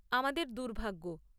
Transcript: আমাদের দুর্ভাগ্য।